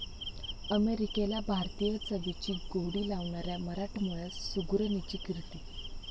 अमेरिकेला भारतीय चवीची गोडी लावणाऱ्या मराठमोळ्या सुगरणीची 'कीर्ती'